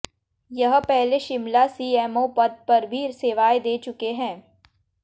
यह पहले शिमला सीएमओ पद पर भी सेवाएं दे चुके हैं